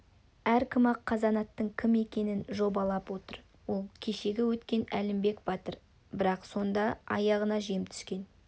әркім-ақ қазанаттың кім екенін жобалап отыр ол кешегі өткен әлімбек батыр бірақ сонда аяғына жем түскен